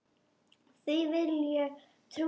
Því vill ég trúa.